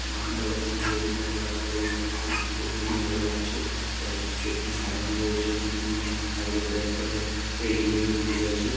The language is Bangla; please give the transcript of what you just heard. গান গাওয়ার জন্য রেডি করা আছে। আর এই জায়গাটাকেও দেখতে খুবই ভালো লাগছে যে এতো কিছু এখানে সাজানো রয়েছে। এখানে দুজন গান গাইবে বলে একবারে রেডি হয়ে দাঁড়িয়ে আছে।